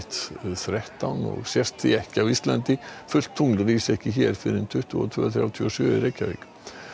þrettán og sést því ekki á Íslandi fullt tungl rís ekki hér fyrr en tuttugu og tveir þrjátíu og sjö í Reykjavík